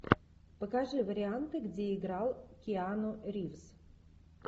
покажи варианты где играл киану ривз